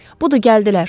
Budur, gəldilər.